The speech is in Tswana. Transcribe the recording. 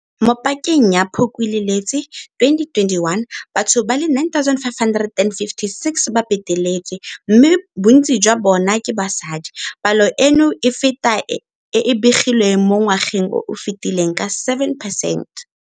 Mo pakeng ya Phukwi le Lwetse 2021, batho ba le 9 556 ba beteletswe, mme bontsi jwa bona ke basadi. Palo eno e feta e e begilweng mo ngwageng o o fetileng ka 7 percent.